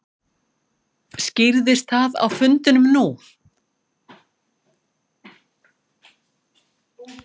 Skýrðist það á fundinum nú?